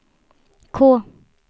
K